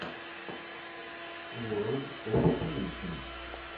ворлд оф пэйнтин